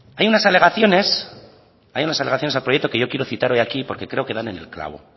hay unas alegaciones al proyecto que yo quiero citar hoy aquí porque creo que dan en el clavo